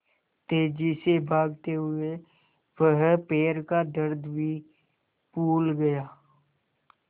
तेज़ी से भागते हुए वह पैर का दर्द भी भूल गया